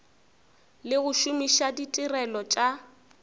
le go šomiša ditirelo tša